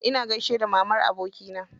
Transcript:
Ina gaishe da mamar abokina.